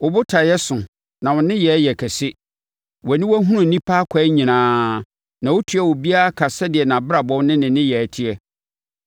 wo botaeɛ so, na wo nneyɛeɛ yɛ kɛseɛ. Wʼaniwa hunu nnipa akwan nyinaa; na wotua obiara ka sɛdeɛ nʼabrabɔ ne ne nneyɛeɛ teɛ.